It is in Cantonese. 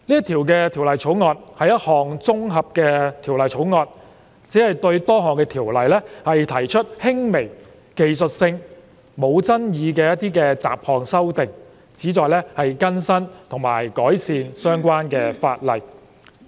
《條例草案》是一項綜合的法案，只是對多項條例提出輕微、技術性、無爭議的雜項修訂，旨在更新和改善相關的法例。